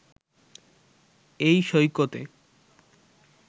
এই সৈকতে